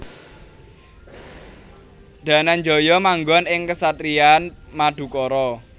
Dananjaya manggon ing kesatrian Madukara